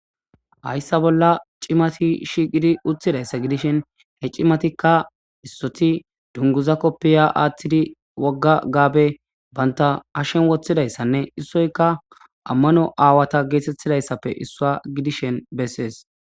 hayssa bolla cimati shiqidi utthidayssa gidishin he cimatikka issoti dunguza koppiya aathtidi wogga gaabe banta hashen woththidayssanne issoyka ammano aawata geetettidayssappe issuwa gidishen bessees